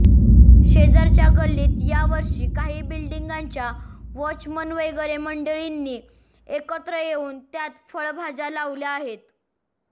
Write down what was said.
शेजारच्या गल्लीत या वर्षी काही बिल्डिंगांच्या वॉचमन वगैरे मंडळींनी एकत्र येऊन त्यात फळभाज्या लावल्या आहेत